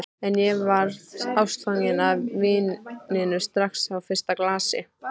En ég varð ástfangin af víninu strax á fyrsta glasi.